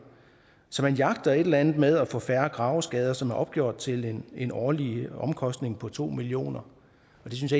så man jagter et eller andet med at få færre graveskader som er opgjort til en årlig omkostning på to million kr og det synes